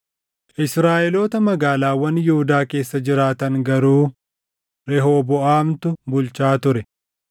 Israaʼeloota magaalaawwan Yihuudaa keessa jiraatan garuu Rehooboʼaamtu bulchaa ture.